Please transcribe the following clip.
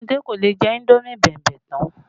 Ọmọdé kò lè jẹ indomi bẹ̀mbẹ̀ tán